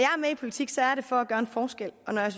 i politik er det for at gøre en forskel og når jeg